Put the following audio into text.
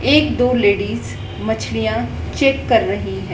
एक दो लेडिस मछलियां चेक कर रही है।